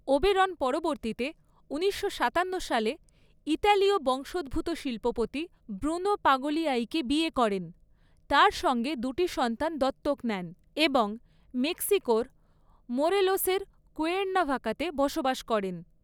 Oberon পরবর্তীতে ঊনিশশো সাতান্ন সালে ইতালীয় বংশোদ্ভূত শিল্পপতি ব্রুনো পাগলিয়াইকে বিয়ে করেন, তার সঙ্গে দুটি সন্তান দত্তক নেন এবং মেক্সিকোর মোরেলোসের কুয়ের্নাভাকাতে বসবাস করেন।